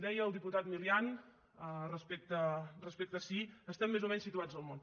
deia el diputat milián respecte a si estem més o menys situats al món